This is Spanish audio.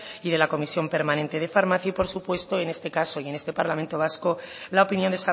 y de la comisión permanente de farmacia y por supuesto en este caso y en este parlamento vasco la opinión